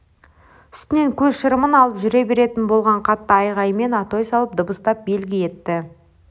үстінен көз шырымын алып жүре беретін болған қатты айғайымен атой салып дабыстап белгі етті